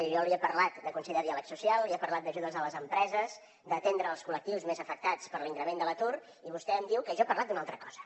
jo li he parlat del consell de diàleg social li he parlat d’ajudes a les empreses d’atendre els col·lectius més afectats per l’increment de l’atur i vostè em diu que jo he parlat d’una altra cosa